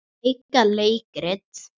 Leika leikrit